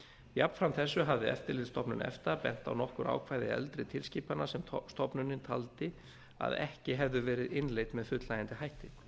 jafnframt þessu hafði eftirlitsstofnun efta bent á nokkur ákvæði eldri tilskipana sem stofnunin taldi að ekki hefðu verið innleidd með fullnægjandi hætti